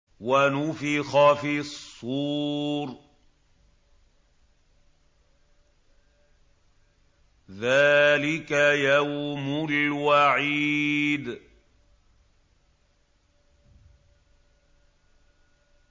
وَنُفِخَ فِي الصُّورِ ۚ ذَٰلِكَ يَوْمُ الْوَعِيدِ